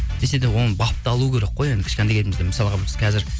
десе де оны бапталу керек қой енді кішкентай кезімізде мысалға біз қазір